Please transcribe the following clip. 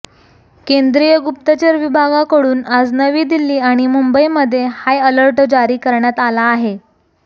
केंद्रीय गुप्तचर विभागाकडून आज नवी दिल्ली आणि मुंबईमध्ये हायअलर्ट जारी करण्यात आला आहे